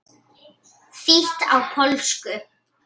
Þýtt á pólsku.